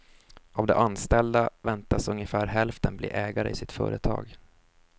Av de anställda väntas ungefär hälften bli ägare i sitt företag.